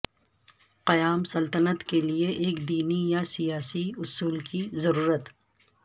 قیام سلطنت کے لیے ایک دینی یا سیاسی اصول کی ضرورت